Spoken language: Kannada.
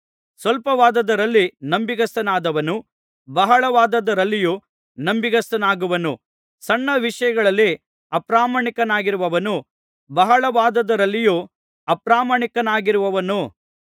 ಸ್ವಲ್ಪವಾದದ್ದರಲ್ಲಿ ನಂಬಿಗಸ್ತನಾದವನು ಬಹಳವಾದದ್ದರಲ್ಲಿಯೂ ನಂಬಿಗಸ್ತನಾಗುವನು ಸಣ್ಣ ವಿಷಯಗಳಲ್ಲಿ ಅಪ್ರಾಮಾಣಿಕನಾಗಿರುವವನು ಬಹಳವಾದದ್ದರಲ್ಲಿಯೂ ಅಪ್ರಾಮಾಣಿಕನಾಗಿರುವನು